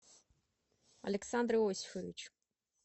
александр иосифович